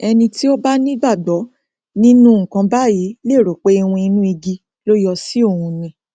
ẹni tí ó bá ní ìgbàgbọ nínú nnkan báyìí lè rò pé iwin inú igi ló yọ sí òun ni